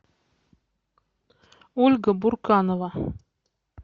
ольга бурканова